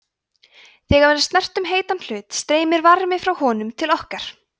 þegar við snertum heitan hlut streymir varmi frá honum til okkar